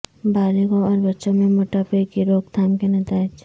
بالغوں اور بچوں میں موٹاپے کی روک تھام کے نتائج